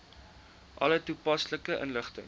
alle toepaslike inligting